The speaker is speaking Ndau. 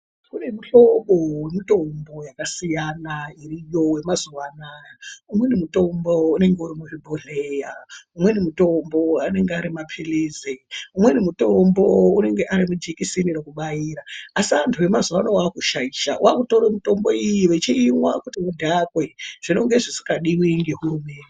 Kune muhlobo wemitombo yakasiyana iriyo yemazuwa anaya. Umweni mutombo ,unenge uri muzvibhodhleya. Umweni mutombo anenga ari maphilizi ,umweni mutombo unonge ari majekiseni ekubaira. Asi antu emazuwa ano vaakushaisha. Vaakutore mutombo iyi vechiimwa kuti vadhakwe, zvinonge zvisikadiwi ngehurumende.